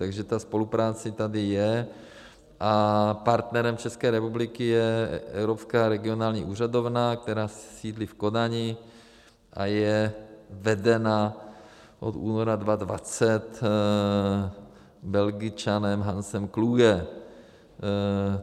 Takže ta spolupráce tady je a partnerem České republiky je Evropská regionální úřadovna, která sídlí v Kodani a je vedena od února 2020 Belgičanem Hansem Klugem.